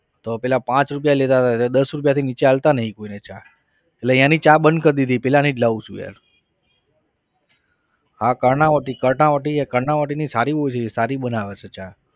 તો પહેલા પાંચ રૂપિયા લેતા હતા હવે દસ રૂપિયાથી નીચે અપાતા નહિ કોઈને ચા એટલે એની ચા બંધ કર દીધી પેલાની જ લેવું છું યાર હા કર્ણાવતી કર્ણાવતી કર્ણાવતીની સારી હોય છે સારી બનાવે છે ચા.